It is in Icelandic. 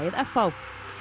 f h